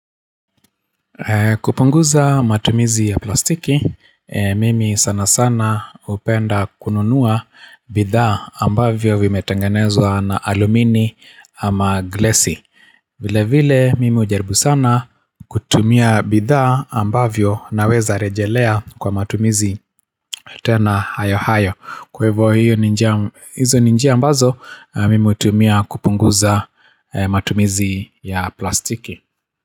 Kupunguza matumizi ya plastiki, mimi sana sana hupenda kununua bidhaa ambavyo vimetangenezwa na alumini ama glesi vile vile mimi hujaribu sana kutumia bidhaa ambavyo naweza rejelea kwa matumizi tena hayo hayo Kwe hivo hizo ni njia ambazo mimi hutumia kupunguza matumizi ya plastiki.